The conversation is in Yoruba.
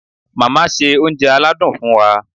Màmá ṣe oúnjẹ aládùn fún wa.